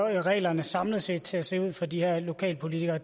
reglerne samlet set kommer til at se ud for de her lokalpolitikere og